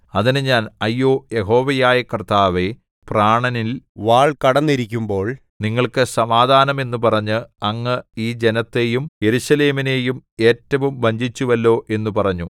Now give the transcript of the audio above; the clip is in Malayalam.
അതിന് ഞാൻ അയ്യോ യഹോവയായ കർത്താവേ പ്രാണനിൽ വാൾ കടന്നിരിക്കുമ്പോൾ നിങ്ങൾക്ക് സമാധാനം എന്നു പറഞ്ഞ് അങ്ങ് ഈ ജനത്തെയും യെരൂശലേമിനെയും ഏറ്റവും വഞ്ചിച്ചുവല്ലോ എന്നു പറഞ്ഞു